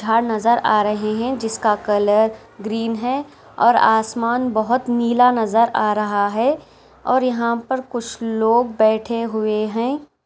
नज़र आ रहे है जिसका कलर ग्रीन है और आसमान बहुत नीला नजर आ रहा है यहां कुछ लोग बैठे हुए है।